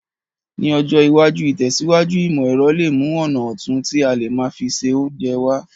Ní ọjọ́ iwájú, ìtẹ̀síwájú ìmọ̀ èrọ le mu ọ̀nà otun ti a le má fi se ounje wa